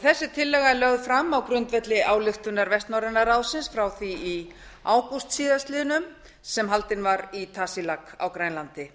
þessi tillaga er lögð fram á grundvelli ályktunar vestnorræna ráðsins frá því í ágúst síðastliðinn sem haldin var í tasiilaq á grænlandi